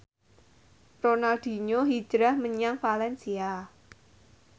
Ronaldinho hijrah menyang valencia